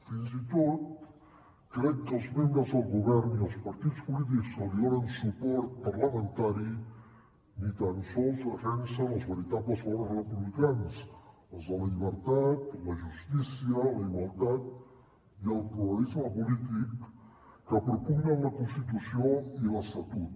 fins i tot crec que els membres del govern i els partits polítics que li donen suport parlamentari ni tan sols defensen els veritables valors republicans els de la llibertat la justícia la igualtat i el pluralisme polític que propugnen la constitució i l’estatut